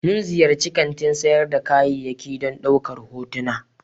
Mun ziyarci kantin sayar da kayayyaki don ɗaukar hotuna.